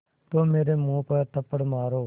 तो मेरे मुँह पर थप्पड़ मारो